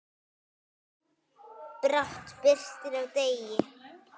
Brátt birtir af degi.